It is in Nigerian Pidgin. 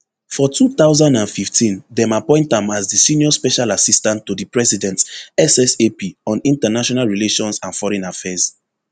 for two thousand and fifteen dem appoint am as di senior special assistant to di president ssap on international relations and foreign affairs